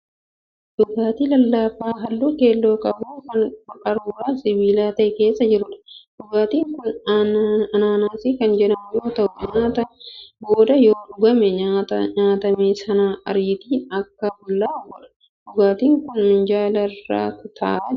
Dhugaatii lallaafaa halluu keelloo qabu kan qaruuraa sibiila ta'e keessa jiruudha. Dhugaatii kun anaanaasii kan jedhamu yoo ta'u nyaata booda yoo dhugamee nyaata nyaatame sana ariitiin akka bullaa'uu godha. Dhugaatin kun minjaala irra ta'aa jira.